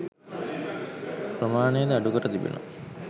ප්‍රමාණයද අඩුකර තිබෙනවා